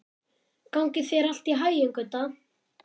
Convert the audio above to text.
Gangi þér allt í haginn, Gudda.